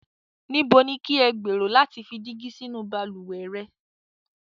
Níbo ni kí ẹ gberò lati fi dígi sínu baluwẹ̀ rẹ̀?